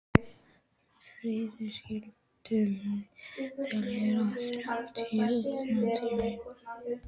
Fríður, stilltu niðurteljara á þrjátíu og þrjár mínútur.